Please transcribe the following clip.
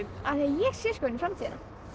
af því ég sé inn í framtíðina